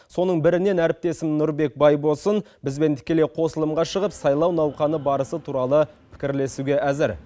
соның бірінен әріптесім нұрбек байбосын бізбен тікелей қосылымға шығып сайлау науқаны барысы туралы пікірлесуге әзір